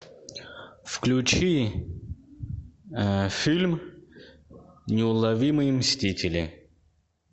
включи фильм неуловимые мстители